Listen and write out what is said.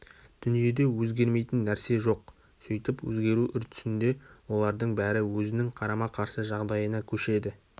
дүниеде өзгермейтін нәрсе жоқ сөйтіп өзгеру үрдісінде олардың бәрі өзінің қарама-қарсы жағдайына көшеді